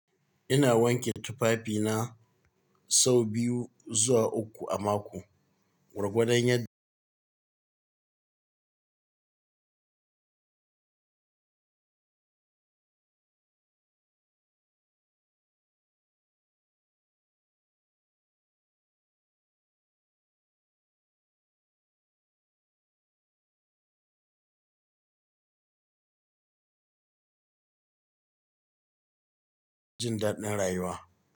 Ina wanke tufafina sau biyu zuwa uku a mako gwargwadan yand daɗin rayuwa.